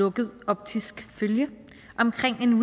lukket optisk følge omkring en